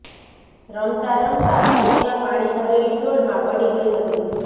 રમતાં રમતાં સૌમ્યા પાણી ભરેલી ડોલમાં પડી ગઈ હતી